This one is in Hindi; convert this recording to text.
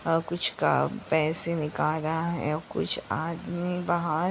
और कुछ का पैसे निकाल रहा हैं और कुछ आदमी बहार--